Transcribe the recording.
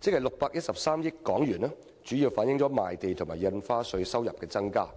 即613億元，主要是由於賣地和印花稅收入有所增加。